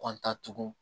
tugun